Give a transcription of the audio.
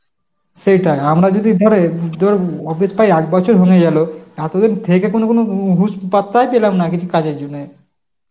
সেটাই, আমরা যদি ধর উম তোর office টায় এক বছর হয়ে গেল, এতদিন থেকে কোন কোন হুশ পাত্তাই পেলাম না কিছু কাজের জন্যে.